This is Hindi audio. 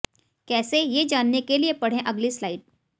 कैसे ये जानने के लिए पढ़े अगली स्लाइड